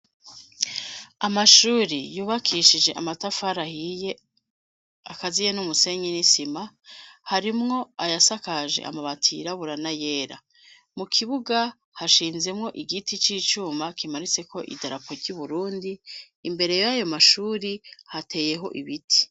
Amashuri yubakishije amatafari ahiye akaziye n'umusenyi n'isima, harimwo ayasakaje amabati yirabura n'ayera, mu kibuga hashinzemwo igiti c'icuma kimaritseko idarapo ry'Uburundi, imbere y'ayo mashuri hateyeho ibiti.